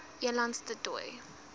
elands du toits